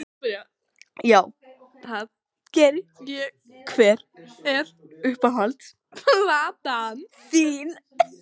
Já, það geri ég Hver er uppáhalds platan þín?